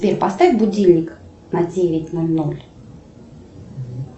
сбер поставь будильник на девять ноль ноль